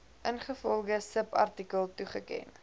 ingevolge subartikel toegeken